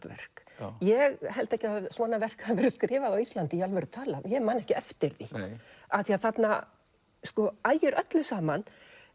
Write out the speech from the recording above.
verk ég held ekki að svona verk hafi verið skrifað á Íslandi í alvöru talað ég man ekki eftir því af því að þarna ægir öllu saman